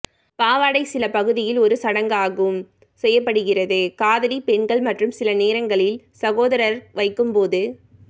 பாவாடை சில பகுதிகளில் ஒரு சடங்காகும் செய்யப்படுகிறது காதலி பெண்கள் மற்றும் சில நேரங்களில் சகோதரர் வைக்கும்போது